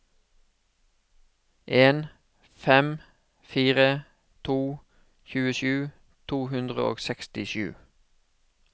en fem fire to tjuesju to hundre og sekstisju